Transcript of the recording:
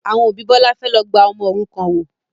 Àwọn òbí Bọlá fẹ́ lọ gba ọmọ òrukàn wò